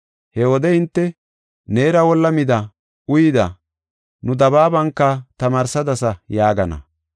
He wode hinte, ‘Neera wolla mida, uyida, nu dabaabanka tamaarsadasa’ yaagana.